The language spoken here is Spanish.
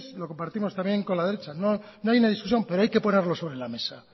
lo compartimos también con la derecha no hay una discusión pero hay que ponerlo sobre la mesa